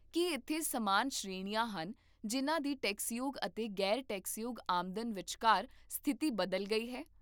ਕੀ ਇੱਥੇ ਸਮਾਨ ਸ਼੍ਰੇਣੀਆਂ ਹਨ ਜਿਨ੍ਹਾਂ ਦੀ ਟੈਕਸਯੋਗ ਅਤੇ ਗ਼ੈਰ ਟੈਕਸਯੋਗ ਆਮਦਨ ਵਿਚਕਾਰ ਸਥਿਤੀ ਬਦਲ ਗਈ ਹੈ?